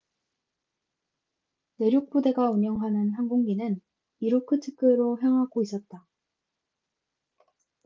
내륙 부대가 운영하는 항공기는 이루크츠크로 향하고 있었다